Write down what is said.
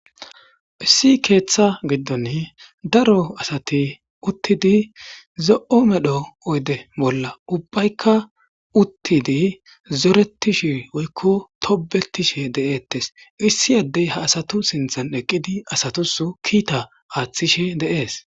issi keeththa giddon daro asati uttidi zo7o medho oyde bolla ubbaykka uttidi zoretishe woykko tobetishe de7ettes issi addey ha asatu sinthan eqqidi asatus kiita aaththishe deees